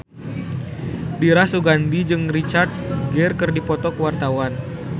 Dira Sugandi jeung Richard Gere keur dipoto ku wartawan